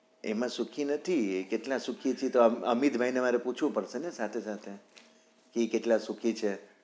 એમાં સુખી નથી કેટલા સુખી છે એતો અમિત ભાઈ ને મારે પુછવું પડશે ને સાથે સાથે કે ઈ કેટલા સુખી છે?